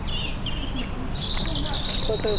ಇಪ್ಪತ್ತೈದು ಸಾವಿರ ರೂಪಾಯಿ